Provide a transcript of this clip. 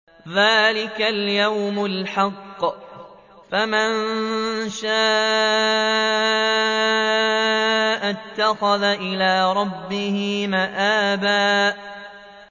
ذَٰلِكَ الْيَوْمُ الْحَقُّ ۖ فَمَن شَاءَ اتَّخَذَ إِلَىٰ رَبِّهِ مَآبًا